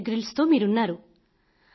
beer Grylls తో మీరున్నారు